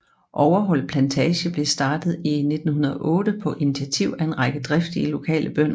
Overholt Plantage blev startet i 1908 på initiativ af en række driftige lokale bønder